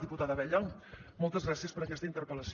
diputada abella moltes gràcies per aquesta interpel·lació